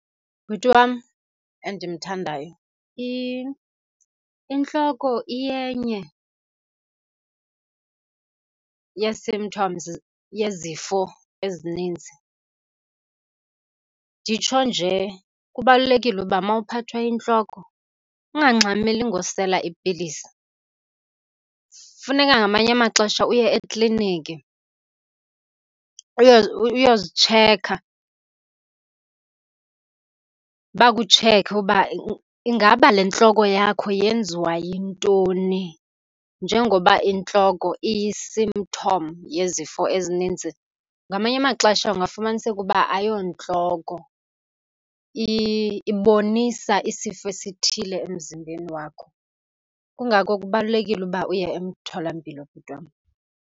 Bhuti wam endimthandayo, intloko iyenye yee-symptoms, yezifo ezininzi. Nditsho nje, kubalulekile uba uma uphathwa yintloko ungangxameli ngosela ipilisi. Funeka ngamanye amaxesha uye ekliniki uyozitsheka, bakutsheke uba ingaba le ntloko yakho yenziwa yintoni njengoba intloko iyi-symptom yezifo ezininzi. Ngamanye amaxesha kungafumaniseka uba ayontloko, ibonisa isifo esithile emzimbeni wakho. Kungako kubalulekile uba uye emtholampilo bhuti wam.